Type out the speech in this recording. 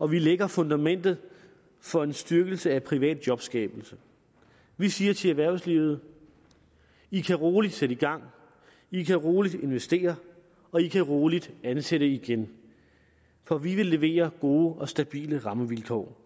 og vi lægger fundamentet for en styrkelse af privat jobskabelse vi siger til erhvervslivet i kan roligt sætte i gang i kan roligt investere og i kan roligt ansætte igen for vi vil levere gode og stabile rammevilkår